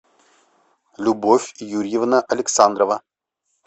любовь юрьевна александрова